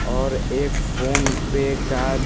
और एक PhonePe का --